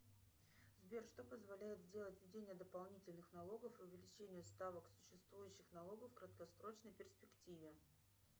сбер что позволяет сделать введение дополнительных налогов и увеличение ставок существующих налогов в краткосрочной перспективе